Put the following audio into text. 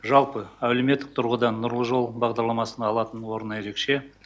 жалпы әлеуметтік тұрғыдан нұрлы жол бағдарламасының алатын орны ерекше